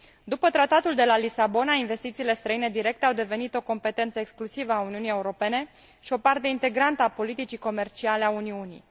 După Tratatul de la Lisabona, investițiile străine directe au devenit o competență exclusivă a Uniunii Europene și o parte integrantă a politicii comerciale a Uniunii.